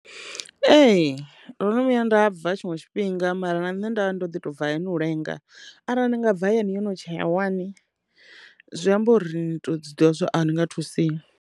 Ee, ndo no vhuya nda bva tshiṅwe tshifhinga mara na nṋe nda vha ndo ḓi to bva hayani u lenga arali ni nga bva hayani yo no tshaya wani zwi amba uri nito zwi ḓivha zwa uri a u nga thusei.